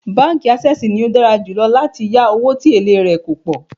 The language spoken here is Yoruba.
Báńkì Ásẹ́sìì ni ó dára jù láti yá owó tí èlé rè kò pọ̀.